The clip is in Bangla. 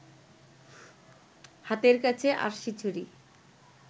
হাতের কাছে আড়শিছড়ি